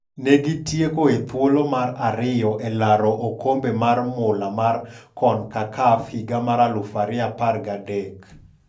Ne gi tieko e thuolo mar ariyo e laro okombe mar mula mar Concacaf higa mar 2013.